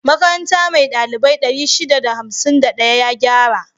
Makaranta mai ɗalibai 651 ya gyara